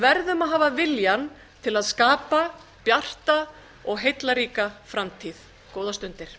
verðum að hafa viljann til að skapa bjarta og heillaríka framtíð góðar stundir